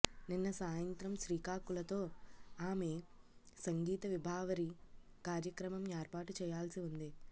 నిన్న సాయత్రం శ్రీకాకులతో ఆమె సంగీత విభావరి కార్యక్రమం ఏర్పాటు చేయాల్సివుంది